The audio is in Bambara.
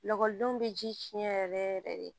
Lakɔlidenw bɛ ji cɛn yɛrɛ yɛrɛ de